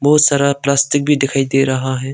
बहुत सारा प्लास्टिक भी दिखाई दे रहा है।